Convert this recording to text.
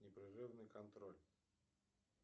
непрерывный контроль